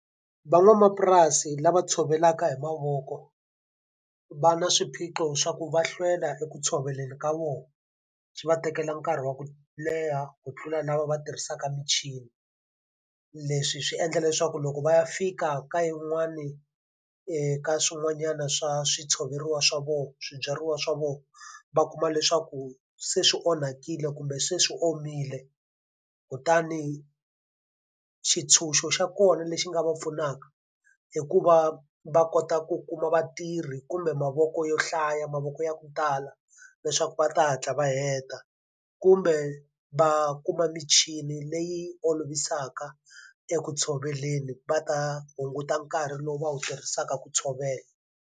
Van'wamapurasi lava tshovelaka hi mavoko va na swiphiqo swa ku va hlwela eku tshoveleni ka vona, swi va tekela nkarhi wa ku leha ku tlula lava va tirhisaka michini. Leswi swi endla leswaku loko va ya fika ka yin'wani ka swin'wanyana swa swi tshoveriwa swa vona swibyariwa swa vona, va kuma leswaku se swi onhakile kumbe se swi omile. Kutani xintshunxo xa kona lexi nga va pfunaka i ku va va kota ku kuma vatirhi kumbe mavoko yo hlaya, mavoko ya ku tala leswaku va ta hatla va heta. Kumbe va kuma michini leyi olovisaka eku tshoveleni va ta hunguta nkarhi lowu va wu tirhisaka ku tshovela.